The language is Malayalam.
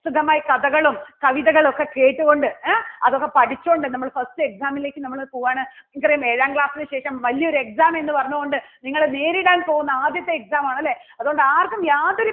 കഥകളും കവിതകളും ഒക്കെ കേട്ട് കൊണ്ട് ഏ അതൊക്കെ പഠിച്ചോണ്ട് നമ്മള് first exam ലേക്ക് നമ്മള് പോവാണ്. നമുക്കറിയാം ഏഴാം class ന് ശേഷം വലിയ ഒരു exam എന്ന് പറഞ്ഞുകൊണ്ട് നിങ്ങള് നേരിടാൻ പോകുന്ന ആദ്യത്തെ exam ആണ് അല്ലേ അതുകൊണ്ട് ആർക്കും യാതൊരു